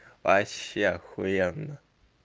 вообще ахуенно